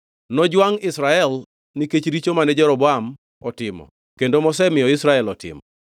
Nojwangʼ Israel nikech richo mane Jeroboam otimo kendo mosemiyo Israel otimo.”